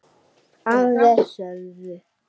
Aðrir sögðu